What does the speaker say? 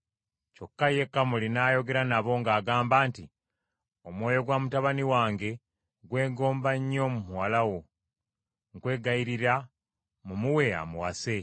Kyokka ye Kamoli n’ayogera nabo ng’agamba nti, “Omwoyo gwa mutabani wange gwegomba nnyo muwala wo, nkwegayirira mumuwe amuwase.